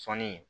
Sɔnni